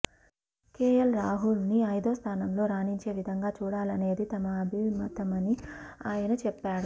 KL Rahul ను ఐదో స్థానంలో రాణించే విధంగా చూడాలనేది తమ అభిమతమని ఆయన చెప్పాడు